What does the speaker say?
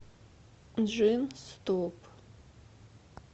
джинстоп